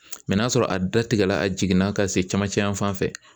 n'a sɔrɔ a datigɛla a jiginna ka se camancɛyan fanfɛ